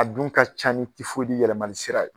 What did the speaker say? A dun ka ca ni tifoyidi yɛlɛmani sira ye